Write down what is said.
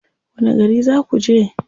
Wani gari za ku je?